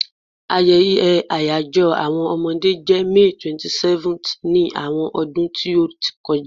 Ayeye àyajo àwọn Omode je May 27th ni àwọn ọdún ti o ti kọja